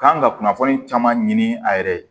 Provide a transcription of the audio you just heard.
Kan ka kunnafoni caman ɲini a yɛrɛ ye